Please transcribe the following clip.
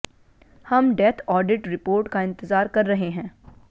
हम death audit report का इंतजार कर रहे हैं